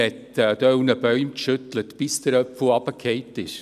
Man rüttelte an gewissen Bäumen, bis der Apfel herunterfiel.